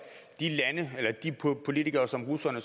de lande eller de politikere som russerne